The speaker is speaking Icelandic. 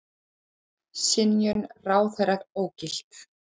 Synjun ráðherra ógilt